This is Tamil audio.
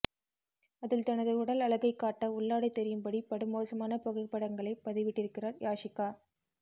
அதில் தனது உடல் அழகை காட்ட உள்ளாடை தெரியும்படி படுமோசமான புகைப்படங்களை பதிவிட்டிருக்கிறார் யாஷிகா